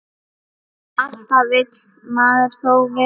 Alltaf vill maður þó meira.